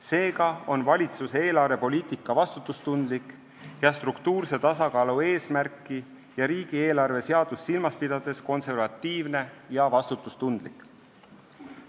Seega on valitsuse eelarvepoliitika struktuurse tasakaalu eesmärki ja riigieelarve seadust silmas pidades konservatiivne ja vastutustundlik.